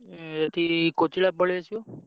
ଉଁ ଏଠି କୋଚିଳା ପଳେଇଆସିବ।